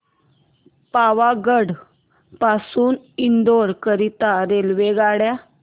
पावागढ पासून इंदोर करीता रेल्वेगाड्या